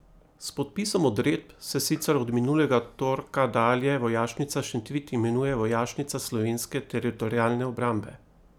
S podpisom odredb se sicer od minulega torka dalje Vojašnica Šentvid imenuje Vojašnica Slovenske teritorialne obrambe.